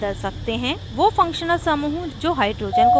वो functional समूहों जो hydrogen को बदलते हैं निम्न हैं